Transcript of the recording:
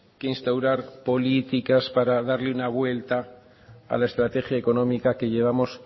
que instaurar políticas para darle una vuelta a la estrategia económica que llevamos